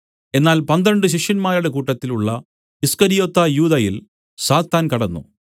എന്നാൽ പന്ത്രണ്ട് ശിഷ്യന്മാരുടെ കൂട്ടത്തിൽ ഉള്ള ഈസ്കര്യോത്താ യൂദയിൽ സാത്താൻ കടന്നു